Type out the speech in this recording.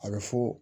A bɛ fɔ